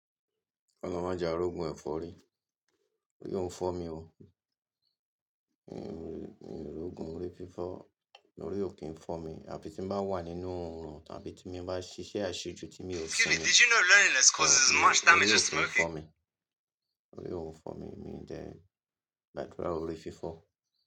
Olorun máa je ka ri ogún ẹ̀fọ́rí, òri ò ń fọ́ mi oò, òye mi ri ògùn orí fífọ́, órí ò kí ń fọ́ mi àfí tí ń bá wà nínú oòrùn tàbí tí mo bá ṣe iṣẹ́ aṣejú tí èmi óò simi, òri ò ń fọ́ mi, òri ò ń fọ́ mi, mí dẹ̀ gbàdúrà orí fífọ́